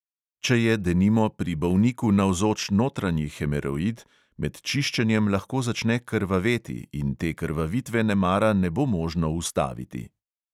Če je, denimo, pri bolniku navzoč notranji hemoroid, med čiščenjem lahko začne krvaveti in te krvavitve nemara ne bo možno ustaviti.